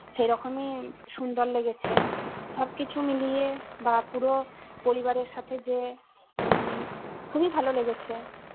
সেই রকমই সুন্দর লেগেছে। সব কিছু মিলিয়ে বা পুরো পরিবারের সাথে যে উম খুবই ভালো লেগেছে